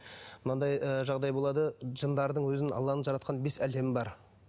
мынандай ы жағдай болады жындардың өзінің алланың жаратқан бес әлемі бар